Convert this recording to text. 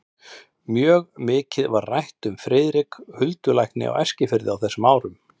Mjög mikið var rætt um Friðrik huldulækni á Eskifirði á þessum árum.